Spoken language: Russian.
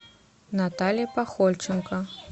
наталья пахольченко